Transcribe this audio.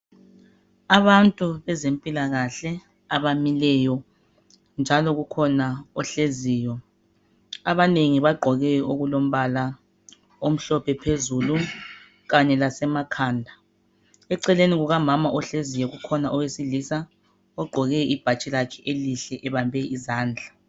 Abantu bezempilakahle abamileyo njalo kukhona ohleziyo. Abanengi bagqoke okulombala omhlophe phezulu kanye lasemakhanda. Eceleni kukamama ohleziyo kukhona owesilisa ogqoke ibhatshi lakhe elihle ebambe izandla.